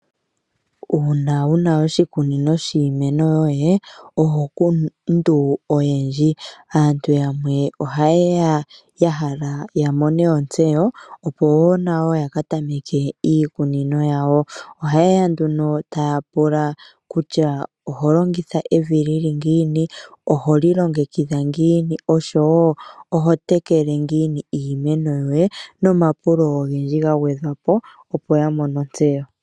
Uuna wuna oshikunino shiimeno yoye, oho kundu oyendji. Aantu yamwe ohaye ya ya hala ya mone ontseyo opo wo nayo ya ka tameke iikunino yawo. Ohaye ya nduno taa pula kutya oho longitha evi li li ngiini, oho li longekidha ngiini oshowo oho tekele ngiini iimeno yoye, nomapulo ogendji ga gwedhwa po opo ya mone ontseyo.